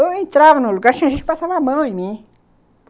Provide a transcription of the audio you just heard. Eu entrava no lugar, tinha gente que passava a mão em mim.